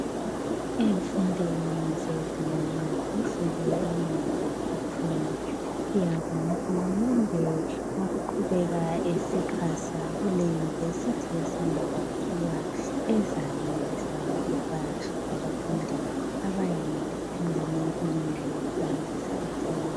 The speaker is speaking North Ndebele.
emfundweni zezinga elingaphezulu ema university siyabonga uhulumende ngokuqhubeka esixhasa kule university esanda kwakhiwa ezayenelisa ukuba labafundi abangamankulungwane amathathu